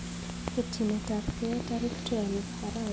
Ketyinetabgei tarik 12 arawetab taman